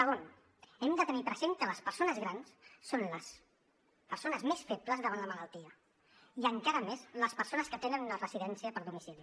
segon hem de tenir present que les persones grans són les persones més febles davant la malaltia i encara més les persones que tenen una residència per domicili